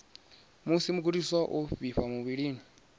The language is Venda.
musi mugudiswa o vhifha muvhilini